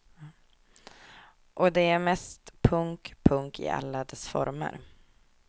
Och det är mest punk, punk i alla dess former.